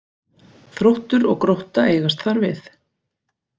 Þróttur og Grótta eigast þar við